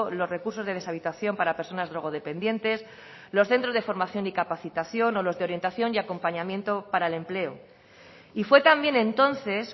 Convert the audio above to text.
los recursos de deshabitación para personas drogodependientes los centros de formación y capacitación o los de orientación y acompañamiento para el empleo y fue también entonces